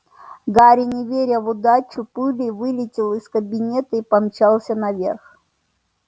гарри не веря в удачу пулей вылетел из кабинета и помчался наверх